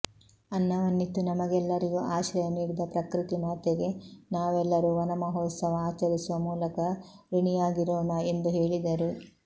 ಅನ್ನವನ್ನಿತ್ತು ನಮಗೆಲ್ಲರಿಗೂ ಆಶ್ರಯ ನೀಡಿದ ಪ್ರಕೃತಿ ಮಾತೆಗೆ ನಾವೆಲ್ಲರೂ ವನಮಹೋತ್ಸವ ಆಚರಿಸುವ ಮೂಲಕ ಋುಣಿಯಾಗಿರೋಣ ಎಂದು ಹೇಳಿದರು